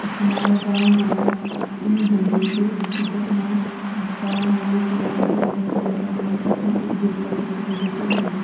त हमारा गाँव मा इनी हूंदु च की जखमा गाँव मुलुक या अधिक जनसँख्या रैंदी तखमा एक देवता की फोटो जरूर हुंदी।